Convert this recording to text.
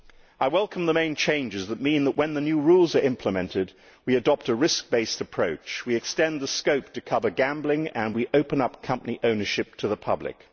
I welcome the main changes, which mean that, when the new rules are implemented, we will adopt a risk based approach, extend the scope to cover gambling and open up company ownership to the public.